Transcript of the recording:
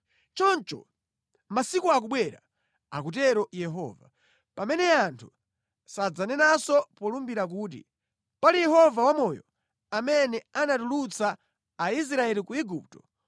Choncho, masiku akubwera,” akutero Yehova, “pamene anthu sadzanenanso polumbira kuti, ‘Pali Yehova wamoyo, amene anatulutsa Aisraeli ku Igupto,’